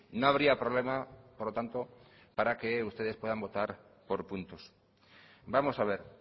no habría problema por lo tanto para que ustedes puedan votar por puntos vamos a ver